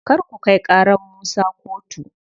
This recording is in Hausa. Kar ku kai ƙarar Musa kotu.